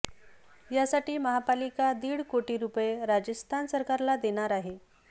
यासाठी महापालिका दीड कोटी रुपये राजस्थान सरकारला देणार आहे